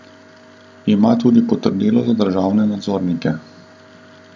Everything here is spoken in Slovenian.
Ima tudi potrdilo za državne nadzornike.